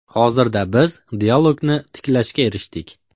Hozirda biz dialogni tiklashga erishdik.